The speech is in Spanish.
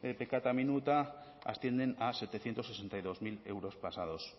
peccata minuta ascienden a setecientos sesenta y dos mil euros pasados